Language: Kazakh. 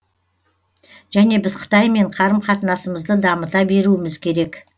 және біз қытаймен қарым қатынасымызды дамыта беруіміз керек